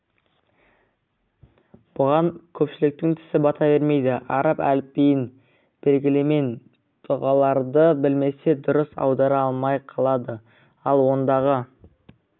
бұған көпшіліктің тісі бата бермейді араб әліпбиін білгенімен дұғаларды білмесе дұрыс аудара алмай қалады ал ондағы